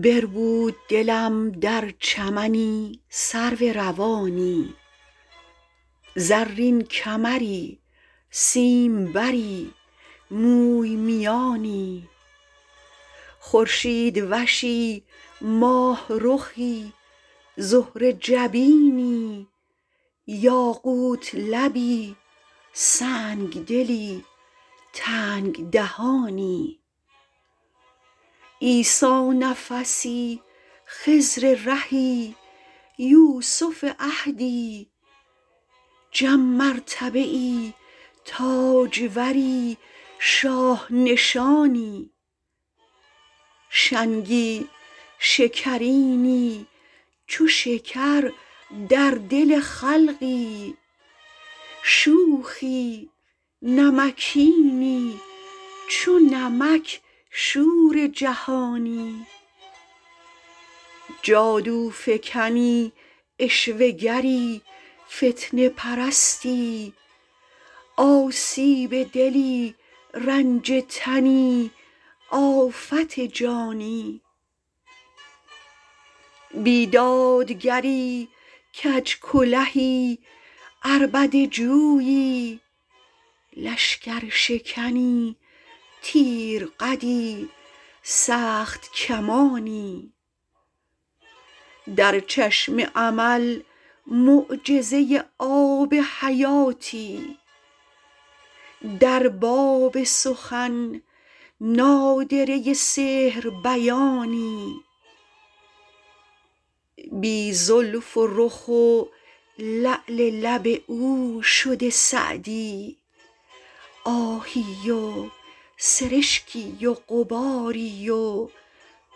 بربود دلم در چمنی سرو روانی زرین کمری سیمبری موی میانی خورشیدوشی ماهرخی زهره جبینی یاقوت لبی سنگدلی تنگ دهانی عیسی نفسی خضر رهی یوسف عهدی جم مرتبه ای تاجوری شاه نشانی شنگی شکرینی چو شکر در دل خلقی شوخی نمکینی چو نمک شور جهانی جادوفکنی عشوه گری فتنه پرستی آسیب دلی رنج تنی آفت جانی بیدادگری کج کلهی عربده جویی لشکرشکنی تیر قدی سخت کمانی در چشم امل معجزه آب حیاتی در باب سخن نادره سحر بیانی بی زلف و رخ و لعل لب او شده سعدی آهی و سرشکی و غباری و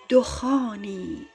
دخانی